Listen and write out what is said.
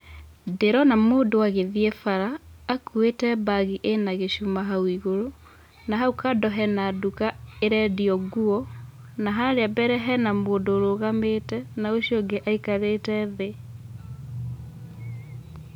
Ndĩrona mũndũ agĩthiĩ bara, akuĩte mbagi ĩna gĩcuma hau igũrũ, na hau kando hena nduka ĩrendio nguo, na harĩa mbere hena mũndũ ũrũgamĩte na ũcio ũngĩ aikarĩte thĩ.